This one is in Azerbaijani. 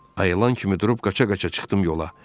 Ayılan kimi durub qaça-qaça çıxdım yola.